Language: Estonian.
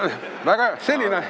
Väga hea!